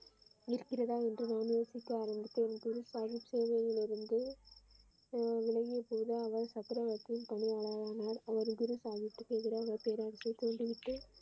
இருக்கிறதா என்று யோசிக்க ஆரம்பித்தேன் குரு சாஹிப் சேவையில் இருந்த பதிவு சேவையிலிருந்து அவர் சக்கரவர்த்தியின் பணியாளர் ஆனார் குரு சாகிப்பிற்கு எதிரான பேரரசை தூண்டிவிட்டு.